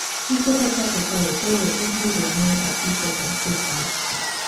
Chife ma pacho kae koro ibiro mi apiko kod sirkal